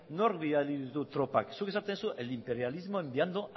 nork bidali ditu tropak zuk esaten duzu el imperialismo enviando